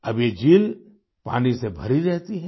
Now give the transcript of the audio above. अब ये झील पानी से भरी रहती है